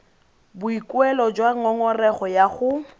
boikuelo jwa ngongorego ya go